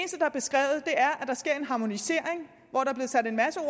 harmonisering